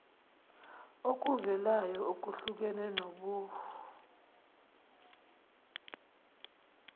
kokuvelayo okuhlukene kobuh